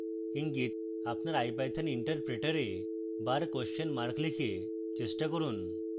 ইঙ্গিত: আপনার ipython interpreter bar question mark লিখে চেষ্টা করুন